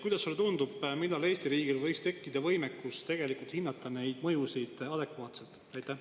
Kuidas sulle tundub, millal võiks Eesti riigil tekkida võimekus neid mõjusid adekvaatselt hinnata?